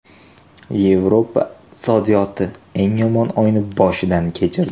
Yevropa iqtisodiyoti eng yomon oyni boshdan kechirdi.